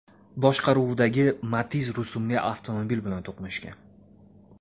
boshqaruvidagi Matiz rusumli avtomobil bilan to‘qnashgan.